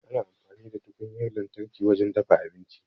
Ana amfani da tukunyar lantarki wajen dafa abinci.